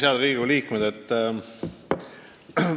Head Riigikogu liikmed!